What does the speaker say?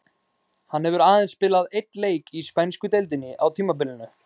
Hann hefur aðeins spilað einn leik í spænsku deildinni á tímabilinu.